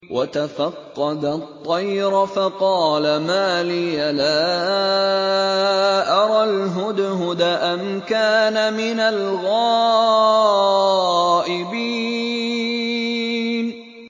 وَتَفَقَّدَ الطَّيْرَ فَقَالَ مَا لِيَ لَا أَرَى الْهُدْهُدَ أَمْ كَانَ مِنَ الْغَائِبِينَ